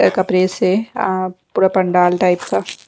कपड़े से आ पूरा पंडाल टाइप का--